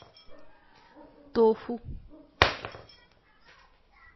тофу